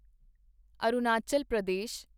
Arunachal Pradesh